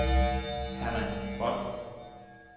Hermann Boll